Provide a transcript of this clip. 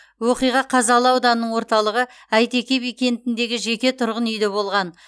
оқиға қазалы ауданының орталығы әйтеке би кентіндегі жеке тұрғын үйде болған